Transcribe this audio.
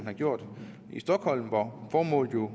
har gjort i stockholm formålet